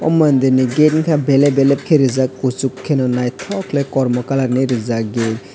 o mandir gate wngka belep belep ke rijak kochok keno naitok kelai kormo colour ni rijak gate .